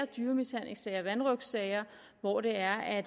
dyremishandlingssager og vanrøgtsager hvor der er